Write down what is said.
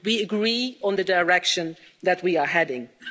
We agree on the direction that we are heading in.